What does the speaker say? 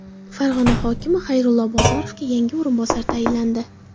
Farg‘ona hokimi Xayrullo Bozorovga yangi o‘rinbosar tayinlandi.